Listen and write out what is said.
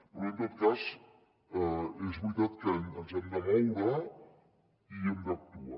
però en tot cas és veritat que ens hem de moure i hem d’actuar